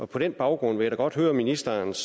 på den baggrund vil jeg da godt høre ministerens